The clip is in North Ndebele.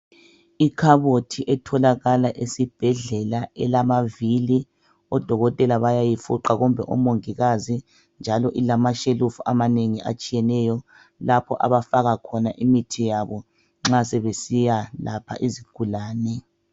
Ikhabothi etholakala esibhedlela, elamavili. Odokotela bayayifuqa kumbe omongikazi, njalo ilamashelufu amanengi atshiyeneyo. Lapho abafaka khona imithi yabo nxa sebesiyakwelapha izigulane,